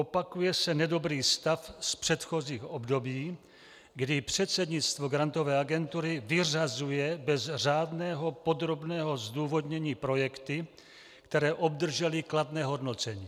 Opakuje se nedobrý stav z předchozích období, kdy předsednictvo Grantové agentury vyřazuje bez řádného podrobného zdůvodnění projekty, které obdržely kladné hodnocení.